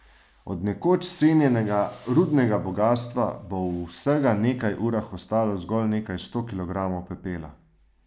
Od nekoč cenjenega rudnega bogastva bo v vsega nekaj urah ostalo zgolj nekaj sto kilogramov pepela.